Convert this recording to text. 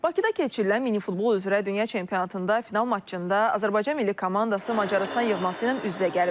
Bakıda keçirilən minifutbol üzrə dünya çempionatında final maçında Azərbaycan milli komandası Macarıstan yığması ilə üz-üzə gəlib.